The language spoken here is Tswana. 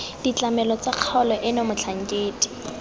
ditlamelo tsa kgaolo eno motlhankedi